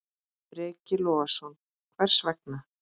Breki Logason: Hvers vegna?